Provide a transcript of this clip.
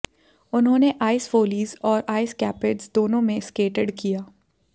उन्होंने Ice Follies और Ice Capades दोनों में स्केटेड किया